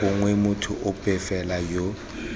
gongwe motho ope fela yo